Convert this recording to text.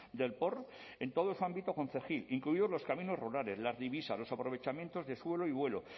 del porn en todo su ámbito concejil incluidos los caminos rurales las divisas los aprovechamientos de suelo y vuelo